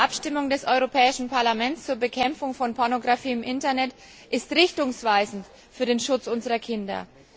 Die heutige Abstimmung des Europäischen Parlaments zur Bekämpfung von Pornografie im Internet ist richtungsweisend für den Schutz unserer Kinder.